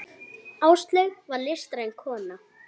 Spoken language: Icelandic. Áslaug var listræn kona.